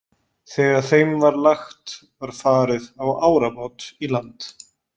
Þegar þeim var lagt var farið á árabát í land.